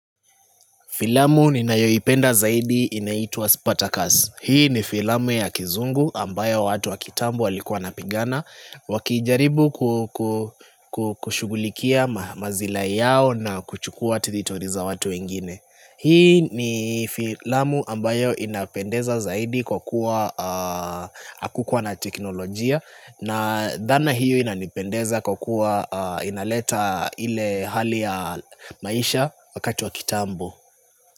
Filamu ninayoipenda zaidi inaitwa Spartacus. Hii ni filamu ya kizungu ambayo watu wa kitambu walikuwa wanapigana wakijaribu kushughulikia masilahi yao na kuchukua territory za watu wengine. Hii ni filamu ambayo inapendeza zaidi kwa kuwa hakukuwa na teknolojia na dhana hiyo inapendeza kwa kuwa inaleta ile hali ya maisha wakati wa kitambu.